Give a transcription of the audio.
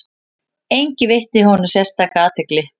Enginn veitti honum sérstaka athygli.